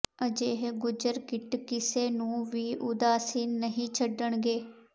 ਅਜਿਹੇ ਗੁੱਜਰ ਕਿੱਟ ਕਿਸੇ ਨੂੰ ਵੀ ਉਦਾਸੀਨ ਨਹੀਂ ਛੱਡਣਗੇ